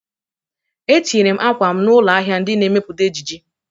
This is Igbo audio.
Etinyere m akwa m n'ụlọ ahịa ndị na-emepụta ejiji